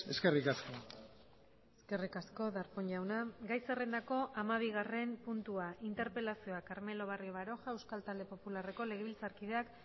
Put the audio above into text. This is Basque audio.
eskerrik asko eskerrik asko darpón jauna gai zerrendako hamabigarren puntua interpelazioa carmelo barrio baroja euskal talde popularreko legebiltzarkideak